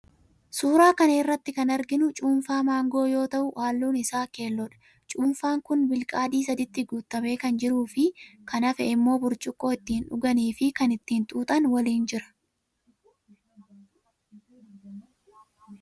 Suuraa kana irratti kan arginu cuunfaa maangoo yoo ta'u halluun isaa keelloodha. Cuunfaan kun bilqaadii saditti guutamee kan jiruufi kan hafe immoo burcuqqoo ittin dhugaanii fi kan ittiin xuuxan waliin jira.